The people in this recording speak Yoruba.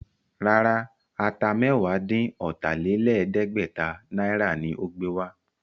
Rárá, Ata mẹ́wàá-dín-ọ̀tà-lé-lẹ̀ẹ́dẹ́gbẹ̀ta náírà ni ó gbé wá